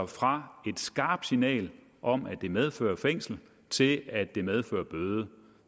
fra et skarpt signal om at det medfører fængselsstraf til at det medfører bøde